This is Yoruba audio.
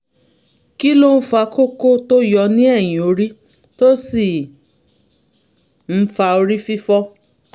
kí ló ń fa kókó tó yọ ní ẹ̀yìn orí tó sì ń fa orí fífọ́?